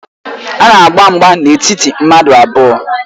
A na-agba mgba n'etiti mmadụ abụọ